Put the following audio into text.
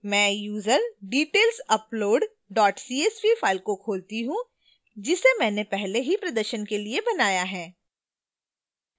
मैं userdetailsupoad csv file को खोलती हूँ जिसे मैंने पहले ही प्रदर्शन के लिए बनाया है